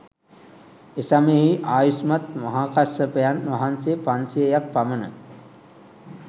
එසමයෙහි ආයුෂ්මත් මහාකස්සපයන් වහන්සේ පන්සියයක් පමණ